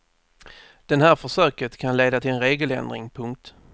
Den här försöket kan leda till en regeländring. punkt